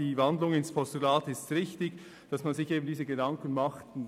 Die Umwandlung in ein Postulat ist richtig, damit man sich entsprechende Gedanken darüber macht und